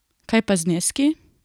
Kaj pa zneski?